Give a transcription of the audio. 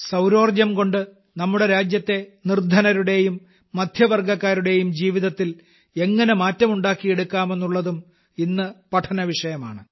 സൌരോർജ്ജംകൊണ്ട് നമ്മുടെ രാജ്യത്തെ നിർധനരുടെയും മധ്യവർഗ്ഗക്കാരുടെയും ജീവിതത്തിൽ എങ്ങനെ മാറ്റം ഉണ്ടാക്കിയെടുക്കാമെന്നുള്ളതും ഇന്നു പഠനവിഷയമാണ്